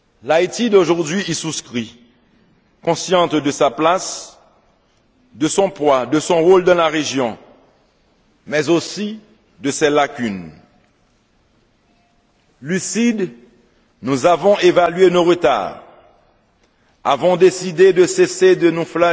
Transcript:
L'Haïti d'aujourd'hui y souscrit, consciente de sa place, de son poids, de son rôle dans la région, mais aussi de ses lacunes. Lucides, nous avons évalué nos retards, avons décidé de cesser de nous